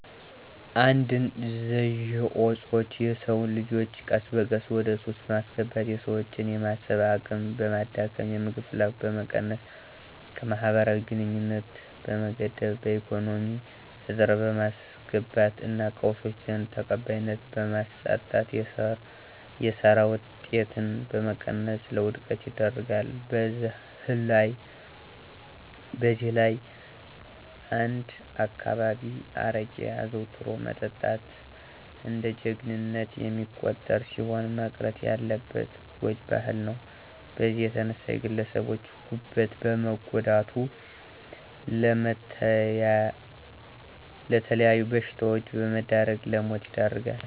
አደንዘዠኦጾቾ የሰወንልጆቾ ቀስበቀስ ወደሱስ በማስገባት የሰወችን የማሰብ አቅምበማዳከም፣ የምግብ ፍላጎትን በመቀነስ ከመህበራዊግንኙነት በመገደብ በኢኮነሚ እጥረት በማስገባት እና ቀሰወች ዘንድ ተቀባይነትን በማሳጣት የሰራ ወጤትን በመቀነስ ለወድቀት ይደርጋል። በዘህላይ አነዳካባቢየ አረቄ አዘዉትሮ መጠጣት እንደጀጀግንነት የሚቆጠርሲሆን መቅረት ያለበት ጓጅ ባህል ነዉ በዚህም የተነሳ የግለሰቦቸን ጉበት በመጉዳት ለመተለያዩ በሽታወች በመዳረግ ለሞት ይደርጋል።